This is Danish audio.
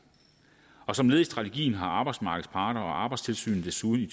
som led i strategien har arbejdsmarkedets parter og arbejdstilsynet desuden i